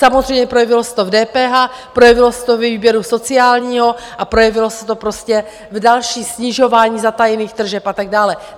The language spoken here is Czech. Samozřejmě projevilo se to v DPH, projevilo se to ve výběru sociálního a projevilo se to prostě v dalším snižování zatajených tržeb a tak dále.